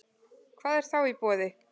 Hvað er þá í boði